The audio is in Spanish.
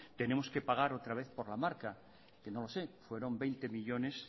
tenemos que pagar otra vez por la marca que no lo sé fueron veinte millónes